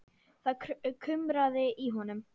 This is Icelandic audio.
Það kumraði í honum.